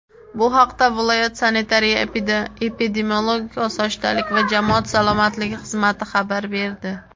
Bu haqda viloyat Sanitariya-epidemiologik osoyishtalik va jamoat salomatligi xizmati xabar berdi.